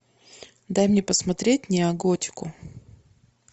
дай мне посмотреть неоготику